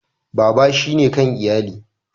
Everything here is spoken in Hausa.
Baba shine kan iyali.